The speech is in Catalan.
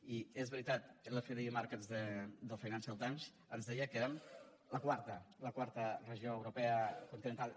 i és veritat que l’fdi markets del financial times ens deia que érem la quarta regió europea continental